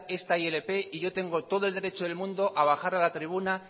esta ilp y yo tengo todo el derecho del mundo a bajar a la tribuna